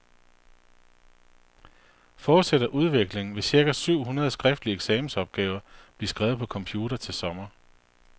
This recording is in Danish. Fortsætter udviklingen, vil cirka syv hundrede skriftlige eksamensopgaver blive skrevet på computer til sommer.